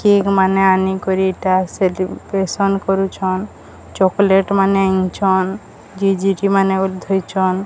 Cake ମାନେ ଆନିକରି ଏଟା ଚକ୍ଲେଟ୍ ମାନେ ଆନିଛନ୍ ଜିଜିଟି ମାନେ ଉଧରିଚନ୍।